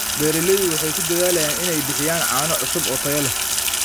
Beeraleydu waxay ku dadaalaan inay bixiyaan caano cusub oo tayo leh.